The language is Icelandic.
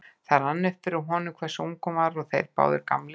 Þá rann það upp fyrir honum hversu ung hún var og þeir báðir gamlir.